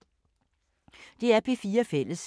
DR P4 Fælles